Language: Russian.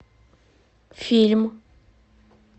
фильм